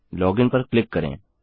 login पर click करें